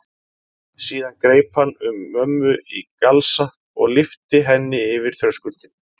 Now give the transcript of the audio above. Síðan greip hann um mömmu í galsa og lyfti henni yfir þröskuldinn.